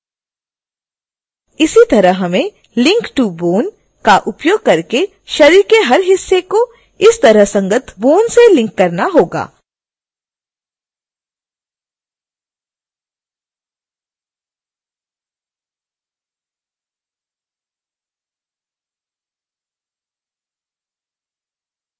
इसी तरह हमें link to bone का उपयोग करके शरीर के हर हिस्से को इसके संगत bone से लिंक करना होगा